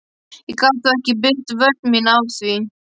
Ég get þó ekki byggt vörn mína á því.